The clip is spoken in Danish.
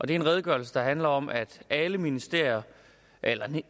det er en redegørelse der handler om at alle ministerier eller